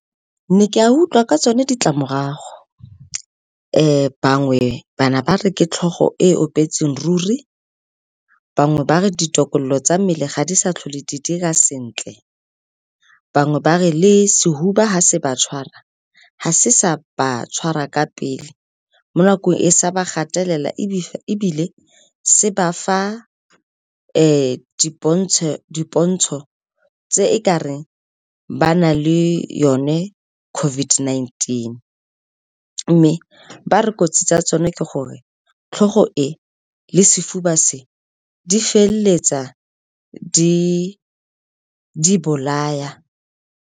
Ke ne ka utlwa ka tsone ditlamorago, bangwe ba ne ba re ke tlhogo e opetseng ruri, bangwe ba re ditokololo tsa mmele ga di sa tlhole di dira sentle, bangwe ba re le sefuba ga se ba tshwara, ga se sa ba tshwara ka pele mo nakong e e sa ba gatelela. Ebile se ba fa dipontsho tse e kareng ba na le yone COVID-19. Mme ba re kotsi tsa tsone ke gore tlhogo e le sefuba se di feleletsa di bolaya.